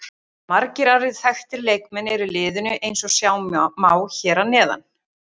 Margir aðrir þekktir leikmenn eru í liðinu eins og sjá má hér að neðan.